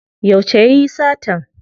Yauce yayi satan?